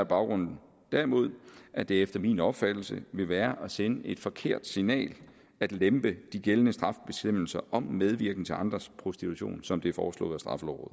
baggrunden derimod at det efter min opfattelse vil være at sende et forkert signal at lempe de gældende strafbestemmelser om medvirken til andres prostitution som det er foreslået